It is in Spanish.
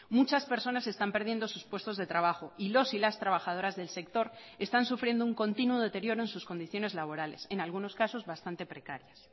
muchas personas están perdiendo sus puestos de trabajo y los y las trabajadoras del sector están sufriendo un continuo deterioro en sus condiciones laborales en algunos casos bastante precarias